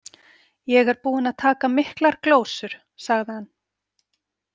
Ég er búinn að taka miklar glósur, sagði hann.